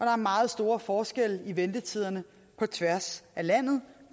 er meget store forskelle i ventetiderne på tværs af landet